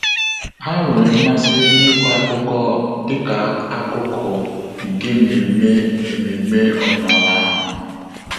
Há nwéré mmasị n’ị́kọ́ ákụ́kọ́ dịka ákụ́kụ́ nke ememe ememe ọ́dị́nála ahụ.